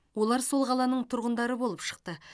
олар сол қаланың тұрғындары болып шықты